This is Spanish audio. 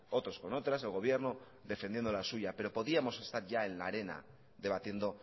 otros con otras el gobierno defendiendo la suya pero podíamos estar ya en la arena debatiendo